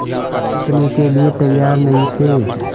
झुकने के लिए तैयार नहीं थे